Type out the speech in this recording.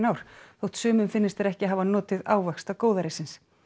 ár þótt sumum finnist þeir ekki hafa notið ávaxta góðærisins